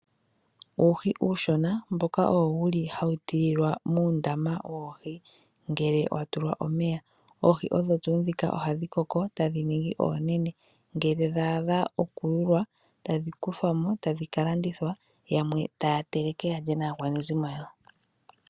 Uuhi uushona mboka wuli owo hawu tililwa muundama woohi ngele wa tulwa omeya. Oohi odho tuu ndhika ohadhi koko e tadhi ningi oonene, ngele dhaadha oku yulwa tadhi kuthwa mo tadhi ka landithwa, yamwe taa teleke yalye naa kwanezimo yawo.